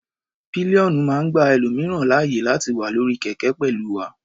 Pillion máa ń gba ẹlòmìíràn láàyè láti wà lórí kẹ̀kẹ́ pẹ̀lú wa.